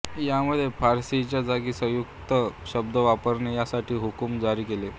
यामध्ये फारसीच्या जागी संस्कृत शब्द वापरणे यासाठी हुकुम जारी केले